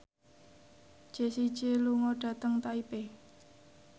Jessie J lunga dhateng Taipei